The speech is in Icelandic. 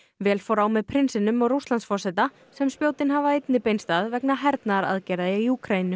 vel fór á með prinsinum og Rússlandsforseta sem spjótin hafa einnig beinst að vegna hernaðaraðgerða í Úkraínu